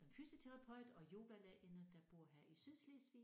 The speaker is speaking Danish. Fysioterapeut og yogalærerinde der bor her i Sydslesvig